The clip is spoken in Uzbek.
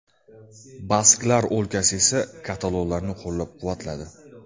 Basklar o‘lkasi esa katalonlarni qo‘llab-quvvatladi.